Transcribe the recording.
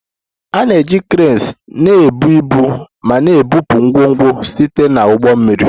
A na-eji cranes na-ebu ibu ma na-ebupụ ngwongwo site na ụgbọ mmiri